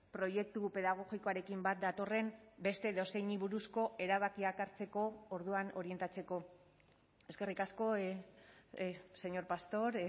proiektu pedagogikoarekin bat datorren beste edozeini buruzko erabakiak hartzeko orduan orientatzeko eskerrik asko señor pastor